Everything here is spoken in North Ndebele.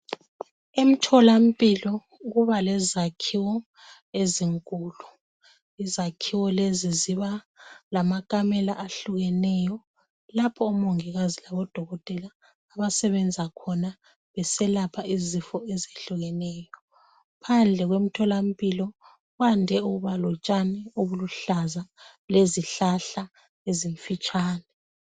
Imtholampilo kubalezakhiwo ezinkulu. Izakhiwo lezi zibalamakamela ezihlukeneyo lapho odokotela labo mongikazi abasebenzela khona belapha izifo ezehlukeneyo. Phandle kwemtholampilo kwande ukuba lezihlahla eziluhlaza lotshani obufitshane